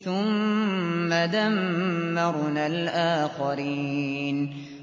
ثُمَّ دَمَّرْنَا الْآخَرِينَ